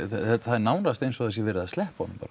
það er nánast eins og það sé verið að sleppa honum